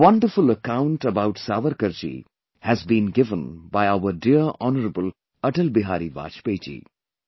A wonderful account about Savarkarji has been given by our dear honorable Atal Bihari Vajpayee Ji